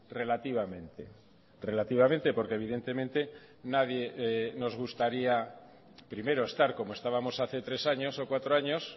relativamente relativamente porque evidentemente nadie nos gustaría primero estar como estábamos hace tres años o cuatro años